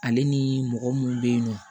Ale ni mɔgɔ minnu bɛ yen nɔ